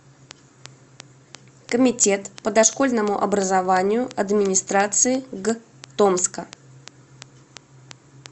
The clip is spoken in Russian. комитет по дошкольному образованию администрации г томска